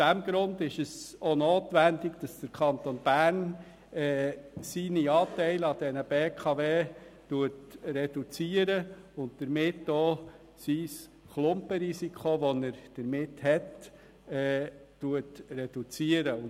Deshalb ist es auch notwendig, dass der Kanton Bern seine Anteile an der BKW reduziert und damit das Klumpenrisiko, das es mit sich bringt.